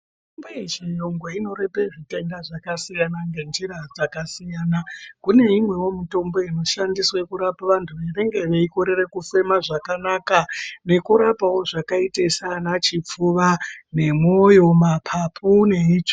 Mitombo yechiyungu inorape zvitenda zvakasiyana ngenjira dzakasiyana. Kune imwewo inoshande kurapa vantu vanenge veikorere kufema zvakanaka, nekurapawo zvakaita saana chipfuva nemwoyo, mapapu neitsvo.